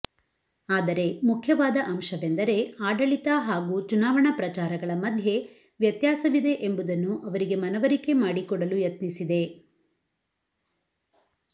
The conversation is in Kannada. ಆದರೆ ಮುಖ್ಯವಾದ ಅಂಶವೆಂದರೆ ಆಡಳಿತ ಹಾಗೂ ಚುನಾವಣಾ ಪ್ರಚಾರಗಳ ಮಧ್ಯೆ ವ್ಯತ್ಯಾಸವಿದೆ ಎಂಬುದನ್ನು ಅವರಿಗೆ ಮನವರಿಕೆ ಮಾಡಿಕೊಡಲು ಯತ್ನಿಸಿದೆ